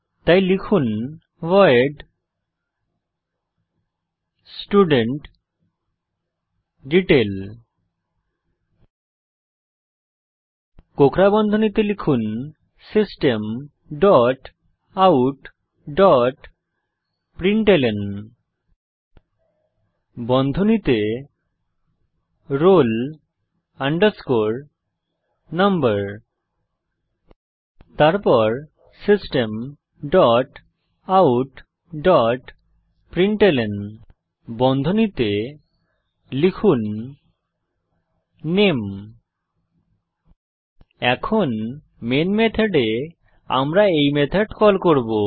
তাই লিখুন void studentDetail কোঁকড়া বন্ধনীতে লিখুন system dot out dot println বন্ধনীতে roll number তারপর system dot out dot println বন্ধনীতে লিখুন নামে এখন মেন মেথডে আমরা এই মেথড কল করব